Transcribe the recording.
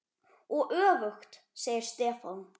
Og öfugt, segir Stefán.